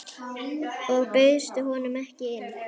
Og bauðstu honum ekki inn?